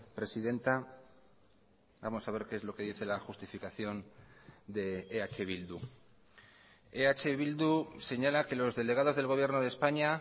presidenta vamos a ver qué es lo que dice la justificación de eh bildu eh bildu señala que los delegados del gobierno de españa